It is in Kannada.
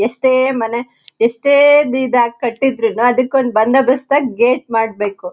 ಎಷ್ಟೇ ಮನೆ ಎಷ್ಟೇ ದಿ ದಾಗ್ ಕಟ್ಟಿದ್ರೂನು ಅಧಿಕ್ ಒಂದ್ ಬಂದೋ ಬಸ್ತಾಗ್ ಗೇಟ್ ಮಾಡ್ಬೇಕು.